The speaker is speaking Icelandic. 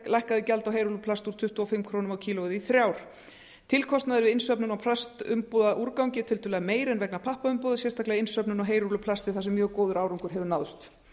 gjald á heyrúlluplast úr tuttugu og fimm komma núll núll krónur kílógrömm tilkostnaður við innsöfnun á plastumbúðaúrgangi er tiltölulega meiri en vegna pappaumbúða sérstaklega innsöfnun á heyrúlluplasti þar sem mjög góður árangur hefur náðst